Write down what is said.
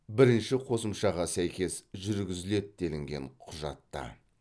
бірінші қосымшаға сәйкес жүргізіледі делінген құжатта